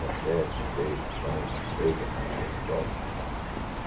Café com leite, pão, manteiga, aquela coisa toda.